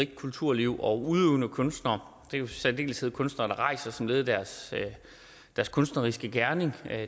kulturliv og udøvende kunstnere det er i særdeleshed kunstnere der rejser som led i deres kunstneriske gerning